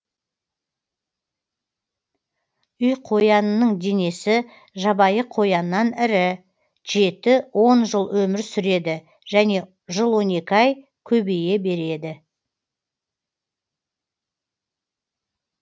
үйқоянның денесі жабайы қояннан ірі жеті он жыл өмір сүрелі және жыл он екі ай көбейе береді